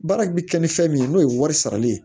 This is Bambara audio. Baara kun bi kɛ ni fɛn min ye n'o ye wari sarali ye